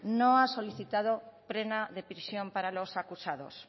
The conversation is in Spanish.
no ha solicitado pena de prisión para los acusados